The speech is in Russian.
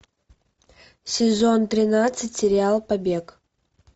сезон тринадцать сериал побег